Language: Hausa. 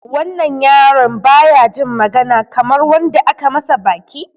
Wannan yaron baya jin magana Kamar wanda aka masa baki.